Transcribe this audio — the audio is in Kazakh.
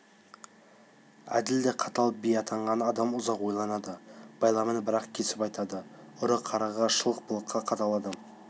әділ де қатал би атанған адам ұзақ ойланады байламын бір-ақ кесіп айтады ұры-қарыға шылық-былыққа қатал адам